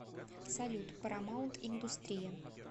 салют парамаунт индустрия